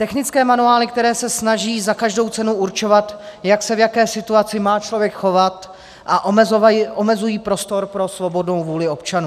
Technické manuály, které se snaží za každou cenu určovat, jak se v jaké situaci má člověk chovat, a omezují prostor pro svobodnou vůli občanů.